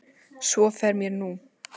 Svo fer mér nú.